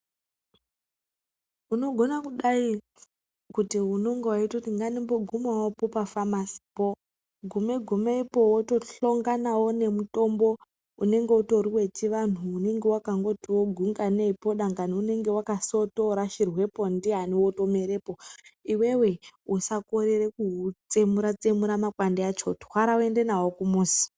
Unogona kudai kuti unonga weitoti ngandimbogumawo pafamasipo gume gumepo wotohlanganawo nemutombo unenge utori wechianhu unenge wakangoti gunganeipo dangani unenge wakasotorashirwepo ndiani wotomerepo. Iwewe usakorere kuutsemura tsemura makwande acho. Twara uende nawo kumuzi.